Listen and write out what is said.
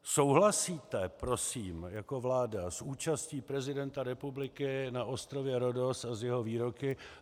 Souhlasíte prosím jako vláda s účastí prezidenta republiky na ostrově Rhodos a s jeho výroky?